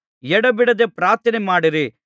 ಎಡೆಬಿಡದೆ ಪ್ರಾರ್ಥನೆಮಾಡಿರಿ